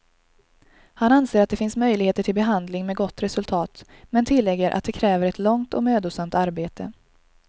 Han anser att det finns möjligheter till behandling med gott resultat, men tillägger att det kräver ett långt och mödosamt arbete.